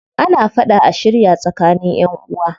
Ana fada a shirya tsakanin ƴanʼuwa.